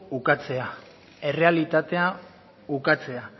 ukatzea errealitatea ukatzea